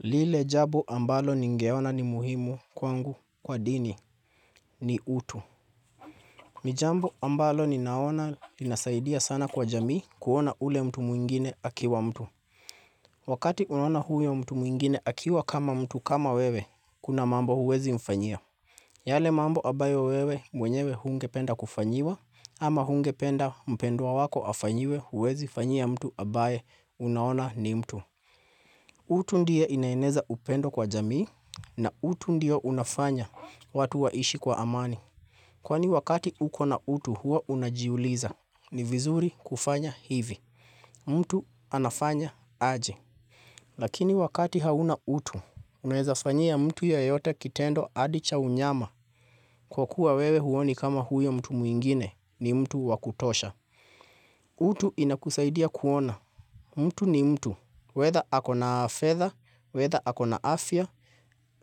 Lile jambo ambalo ningeona ni muhimu kwangu kwa dini ni utu. Ni jambo ambalo ninaona linasaidia sana kwa jamii kuona ule mtu muwingine akiwa mtu. Wakati unaoana huyo mtu mwingine akiwa kama mtu kama wewe, kuna mambo huwezi mfanyia. Yale mambo ambayo wewe mwenyewe hungependa kufanyiwa ama hungependa mpendwa wako afanyiwe huwezi fanyia mtu ambaye unaona ni mtu. Utu ndio inaeneza upendo kwa jamii na utu ndio unafanya watu waishi kwa amani. Kwani wakati uko na utu huo unajiuliza, ni vizuri kufanya hivi. Mtu anafanya aje. Lakini wakati hauna utu, unaezafanyia mtu yoyote kitendo hadicha unyama. Kwa kuwa wewe huoni kama huyo mtu mwingine ni mtu wakutosha. Utu inakusaidia kuona. Mtu ni mtu, wether hako na fedha, wether ako na afya,